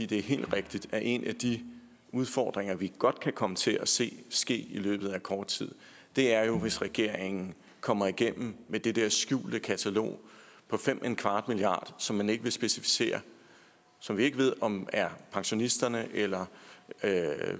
det er helt rigtigt at en af de udfordringer vi godt kan komme til at se i løbet af kort tid er hvis regeringen kommer igennem med det der skjulte katalog for fem milliard som man ikke vil specificere så vi ikke ved om er pensionisterne eller